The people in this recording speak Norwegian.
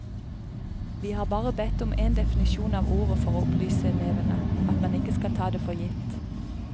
Vi har bare bedt om en definisjon av ordet for å opplyse elevene, at man ikke skal ta det for gitt.